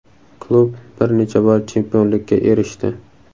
Klub bir necha bor chempionlikka erishdi.